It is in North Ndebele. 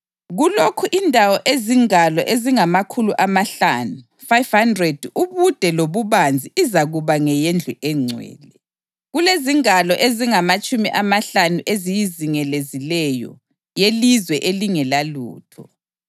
Kulokhu indawo ezingalo ezingamakhulu amahlanu (500) ubude lobubanzi izakuba ngeyendlu engcwele; kulezingalo ezingamatshumi amahlanu eziyizingelezileyo yelizwe elingelalutho.